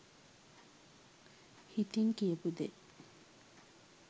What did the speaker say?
හිතින් කියපු දේ